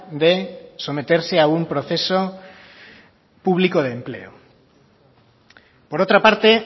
de someterse a un proceso público de empleo por otra parte